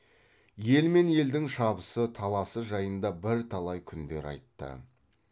ел мен елдің шабысы таласы жайында бірталай күндер айтты